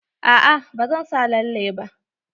A'a ba zan sa lalle ba.